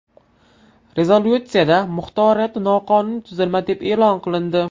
Rezolyutsiyada muxtoriyat noqonuniy tuzilma deb e’lon qilindi.